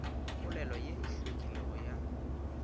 polelo ye e hlwekilego ya